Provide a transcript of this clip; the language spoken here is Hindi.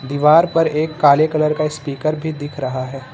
दीवार पर एक काले कलर का स्पीकर भी दिख रहा है।